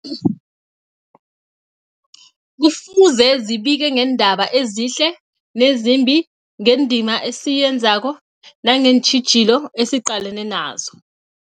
Kufuze zibike ngeendaba ezihle nezimbi, ngendima esiyenzako nangeentjhijilo esiqalene nazo.